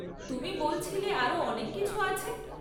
তুমি বলছিলে আরও অনেক কিছু আছে?